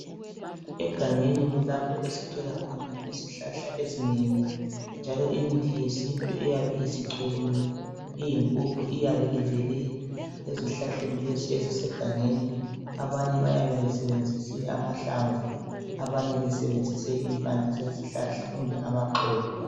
Egangeni kulapho esithola khona izihlahla ezinengi njalo imithi yesintu eyabe isicholiwe iyimpuphu iyabe ivele ezihlahleni lezi ezisegangeni. Abanye bayabe besebenzise amahlamvu abanye besebenzise impande zezihlahla kumbe amaxolo.